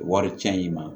Wari cɛn in ma